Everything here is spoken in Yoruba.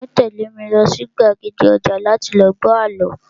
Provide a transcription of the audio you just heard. Tani yoo tẹ̀lé mi lọ sí gbàgede ọjà láti lọ gbọ́ àlọ́?